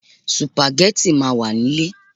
Sùpàgẹ́tì máa wà nile